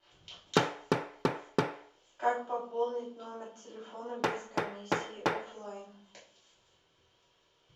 как пополнить номер телефона без комиссии оффлайн